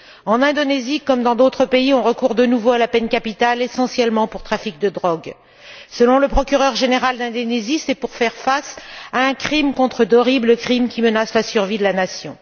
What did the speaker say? En Indonésie, comme dans d'autres pays, on recourt à nouveau à la peine capitale, essentiellement pour trafic de drogue. Selon le procureur général d'Indonésie, le pays mène une guerre contre d'horribles crimes qui menacent la survie de la nation.